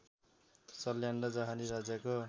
सल्यान र जहारी राज्यको